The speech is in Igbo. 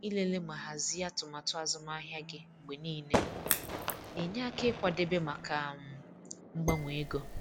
Ịlele ma hazie atụmatụ azụmahịa gị mgbe niile na-enye aka ịkwadebe maka um mgbanwe ego.